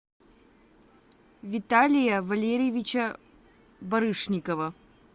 виталия валерьевича барышникова